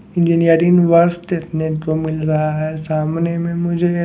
engineering वर्ष देखने को मिल रहा है सामने में मुझे --